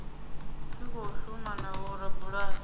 tshi khou shuma na vhorabulasi